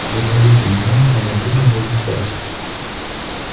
вы ловите меня а я буду ловить вас